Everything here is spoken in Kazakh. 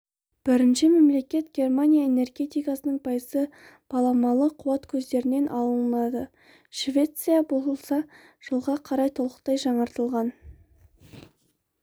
бірінші мемлекет германия энергетикасының пайызы баламалы қуат көздерінен алынады швеция болса жылға қарай толықтай жаңартылған